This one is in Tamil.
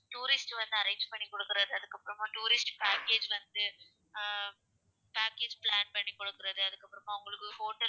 Tourist வந்து arrange பண்ணிக்குடுக்குறது அதுக்கப்புறமா tourist package வந்து ஆஹ் package plan பண்ணி குடுக்குறது அதுக்கு அப்புறமா உங்களுக்கு hotel